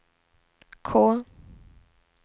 K